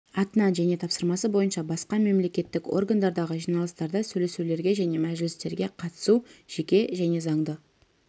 атынан және тапсырмасы бойынша басқа мемлекеттік органдардағы жиналыстарда сөйлесулерге және мәжілістерге қатысу жеке және заңды